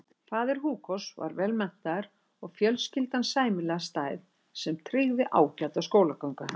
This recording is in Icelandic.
Faðir Hugos var vel menntaður og fjölskyldan sæmilega stæð sem tryggði ágæta skólagöngu hans.